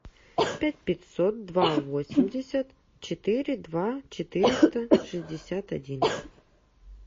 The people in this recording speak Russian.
пять пятьсот два восемьдесят четыре два четыреста шестьдесят один